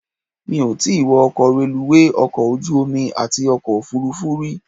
Mi ò tí wọ ọkọ̀ reluwé, ọkọ̀ ojú omi àti ọkọ̀ òfuurufú rí.